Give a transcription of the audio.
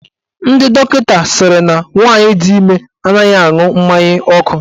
Ndị dọkịta sịrị na nwaanyị di ime anaghị aṅụ mmanya ọkụ.